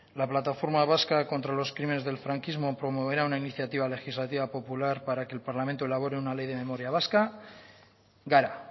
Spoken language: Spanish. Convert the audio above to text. la plataforma vasca contra los crímenes del franquismo promoverá una iniciativa legislativa popular para que el parlamento elabore una ley para la memoria vasca gara